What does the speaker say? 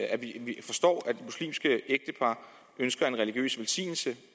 at vi forstår at muslimske ægtepar ønsker en religiøs velsignelse